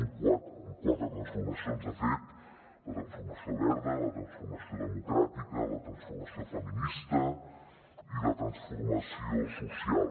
en quatre transformacions de fet la transformació verda la transformació democràtica la transformació feminista i la transformació social